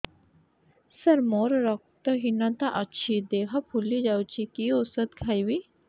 ସାର ମୋର ରକ୍ତ ହିନତା ଅଛି ଦେହ ଫୁଲି ଯାଉଛି କି ଓଷଦ ଖାଇବି